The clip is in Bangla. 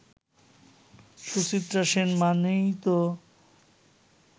সুচিত্রা সেন মানেই তো